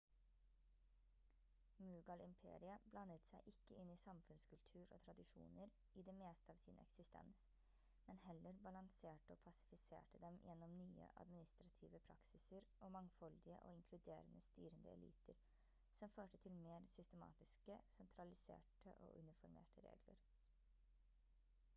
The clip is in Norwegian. mughal-imperiet blandet seg ikke inn i samfunnskultur og tradisjoner i det meste av sin eksistens men heller balanserte og pasifiserte dem gjennom nye administrative praksiser og mangfoldige og inkluderende styrende eliter som førte til mer systematiske sentraliserte og uniformerte regler